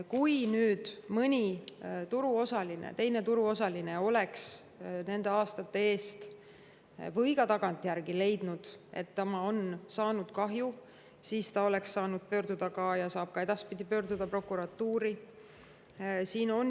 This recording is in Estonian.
Kui mõni teine turuosaline oleks kas aastate eest või on ka tagantjärele leidnud, et ta on saanud kahju, siis ta oleks saanud pöörduda ja saab ka edaspidi pöörduda prokuratuuri.